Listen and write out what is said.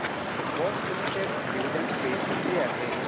Bosch limited dividend pay किती आहे